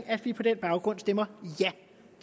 at vi på den baggrund stemmer ja